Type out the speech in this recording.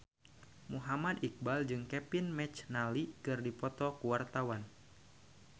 Muhammad Iqbal jeung Kevin McNally keur dipoto ku wartawan